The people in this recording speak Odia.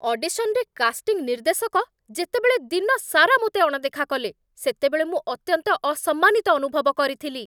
ଅଡିଶନରେ, କାଷ୍ଟିଂ ନିର୍ଦ୍ଦେଶକ ଯେତେବେଳେ ଦିନସାରା ମୋତେ ଅଣଦେଖା କଲେ, ସେତେବେଳେ ମୁଁ ଅତ୍ୟନ୍ତ ଅସମ୍ମାନିତ ଅନୁଭବ କରିଥିଲି।